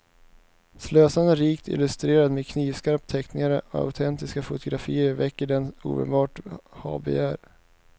Slösande rikt illustrerad med knivskarpa teckningar och autentiska fotografier väcker den omedelbart habegär.